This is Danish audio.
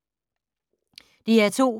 DR2